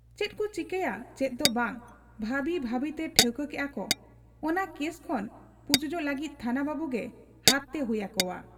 ᱪᱮᱫᱠᱚ ᱪᱤᱠᱟᱹᱭᱟ ᱪᱮᱫ ᱫᱚ ᱵᱟᱝ ᱵᱷᱟᱹᱵᱤ ᱵᱷᱟᱹᱵᱤᱛᱮ ᱴᱷᱟᱹᱣᱠᱟᱹ ᱠᱮᱜ ᱟ ᱠᱚ ᱚᱱᱟ ᱠᱮᱥ ᱠᱷᱚᱱ ᱯᱩᱪᱩᱡᱚᱜ ᱞᱟᱹᱜᱤᱫ ᱛᱷᱟᱱᱟ ᱵᱟᱹᱵᱩᱜᱮ ᱦᱟᱛ ᱛᱮ ᱦᱩᱭ ᱟᱠᱚᱣᱟ ᱾